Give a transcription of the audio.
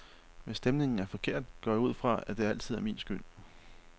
Hvis stemningen er forkert, går jeg ud fra, at det altid er min skyld.